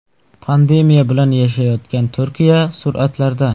Pandemiya bilan yashayotgan Turkiya suratlarda.